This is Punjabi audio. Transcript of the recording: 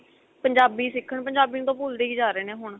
ਪੰਜਾਬੀ ਸਿੱਖਣ ਪੰਜਾਬੀ ਨੂੰ ਤਾਂ ਭੁੱਲਦੇ ਹੀ ਜਾ ਰਹੇ ਨੇ ਹੁਣ